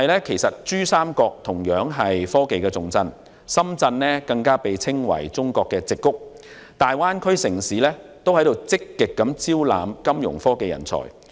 其實，珠三角同樣是科技重鎮，深圳更被譽為"中國矽谷"，大灣區城市均正積極招攬金融科技人才。